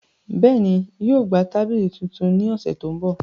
Bẹẹni, yóò gba tabili tuntun ni ọsẹ to nbọ.